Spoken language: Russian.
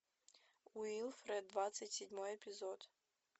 уилфред двадцать седьмой эпизод